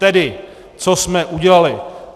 Tedy co jsme udělali.